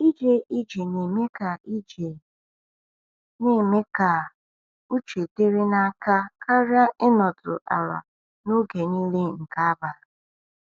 "Ije ije na-eme ka ije na-eme ka uche dịrị n’aka karịa ịnọdụ ala n’oge niile nke abalị."